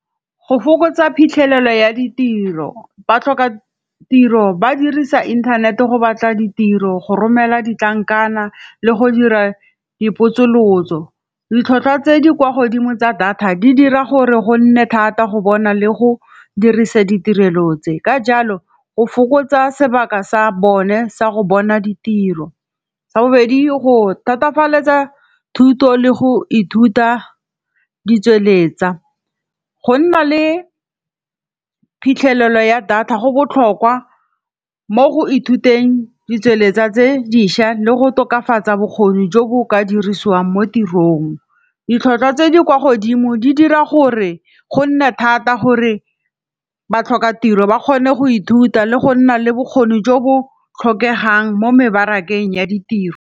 Go fokotsa phitlhelelo ya ditiro, ba tlhoka tiro ba dirisa internet go batla ditiro, go romela ditlankana, le go dira dipotsolotso. Ditlhwatlhwa tse di kwa godimo tsa data di dira gore go nne thata go bona le go dirisa ditirelo tse, ka jalo go fokotsa sebaka sa bone sa go bona ditiro, sa bobedi go thatafalela thuto le go ithuta di tsweletsa, go nna le phitlhelelo ya data go botlhokwa mo go ithuteng di tsweletsa tse dišwa le go tokafatsa bokgoni jo bo o ka dirisiwang mo tirong. Ditlhwatlhwa tse di kwa godimo di dira gore go nne thata gore ba tlhoka tiro ba kgone go ithuta le go nna le bokgoni jo bo tlhokegang mo mebarakeng ya ditiro.